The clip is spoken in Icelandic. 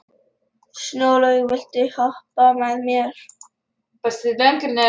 Snjólaug, viltu hoppa með mér?